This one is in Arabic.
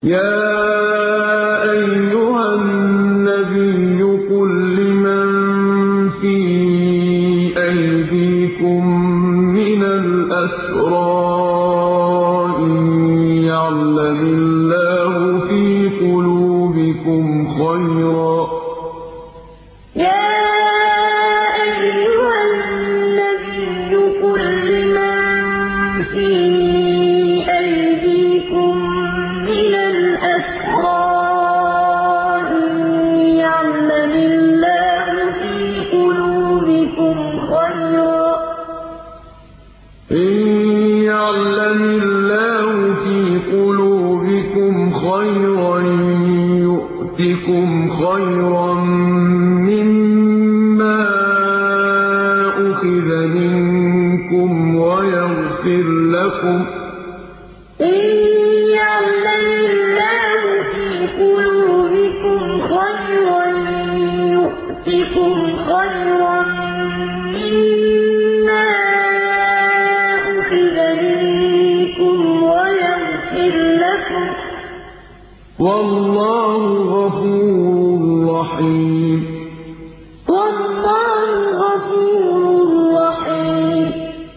يَا أَيُّهَا النَّبِيُّ قُل لِّمَن فِي أَيْدِيكُم مِّنَ الْأَسْرَىٰ إِن يَعْلَمِ اللَّهُ فِي قُلُوبِكُمْ خَيْرًا يُؤْتِكُمْ خَيْرًا مِّمَّا أُخِذَ مِنكُمْ وَيَغْفِرْ لَكُمْ ۗ وَاللَّهُ غَفُورٌ رَّحِيمٌ يَا أَيُّهَا النَّبِيُّ قُل لِّمَن فِي أَيْدِيكُم مِّنَ الْأَسْرَىٰ إِن يَعْلَمِ اللَّهُ فِي قُلُوبِكُمْ خَيْرًا يُؤْتِكُمْ خَيْرًا مِّمَّا أُخِذَ مِنكُمْ وَيَغْفِرْ لَكُمْ ۗ وَاللَّهُ غَفُورٌ رَّحِيمٌ